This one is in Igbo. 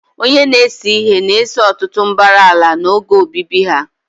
Onye na-ese ihe na-ese ọtụtụ mbara ala n'oge obibi ha.